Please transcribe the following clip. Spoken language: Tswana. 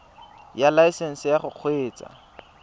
ya laesesnse ya go kgweetsa